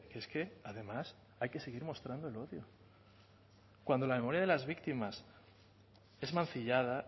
es que además hay que seguir mostrando el odio cuando la memoria de las víctimas es mancillada